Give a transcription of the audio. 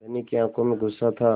धनी की आँखों में गुस्सा था